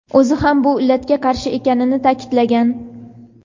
o‘zi ham bu illatga qarshi ekanini ta’kidlagan.